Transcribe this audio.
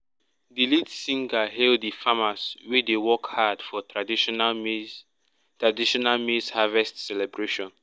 the lead singer hail the farmers wey dey work hard for traditional maize traditional maize harvest celebration.